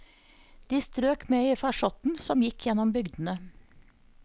De strøk med i farsotten som gikk gjennom bygdene.